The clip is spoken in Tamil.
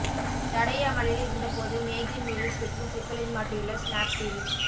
தடை அமலில் இருந்தபோது மேகி நூடுல்ஸ் விற்று சிக்கலில் மாட்டியுள்ள ஸ்னாப்டீல்